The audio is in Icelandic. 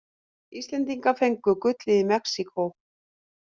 Íslendingar fengu gullið í Mexíkó